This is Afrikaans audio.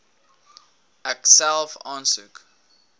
ek self aansoek